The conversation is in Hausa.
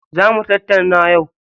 Za mu tattauna yau.